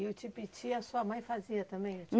E o tipiti, a sua mãe fazia também?